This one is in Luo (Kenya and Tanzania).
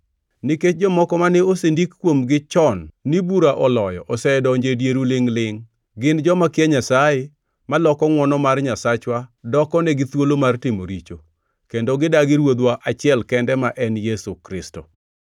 Nikech jomoko mane osendik kuomgi chon ni bura oloyo osedonjo e dieru lingʼ-lingʼ. Gin joma kia Nyasaye, maloko ngʼwono mar Nyasachwa dokonegi thuolo mar timo richo, kendo gidagi Ruodhwa achiel kende ma en Yesu Kristo.